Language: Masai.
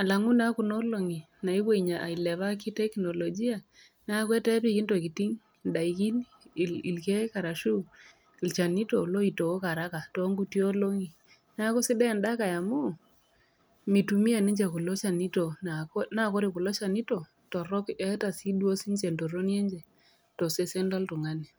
alangu naa Kuna olong'i naewuo ailepaa teknologia neaku etaa epiki intokitin indaiki ilkeek arashu ilchanito pee eitooku araka too inkuti olong'i. Neaku sidai enda Kai amu meitumia ninche kulo chanito. Naa ore kulo chanito torok naa keata sii duo sii ninche entoroni enye tosesen loltung'ani.